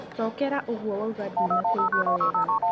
Cokera ũguo wauga dinakũigua weega